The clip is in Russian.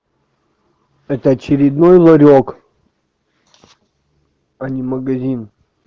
это очередной ларёк а не магазин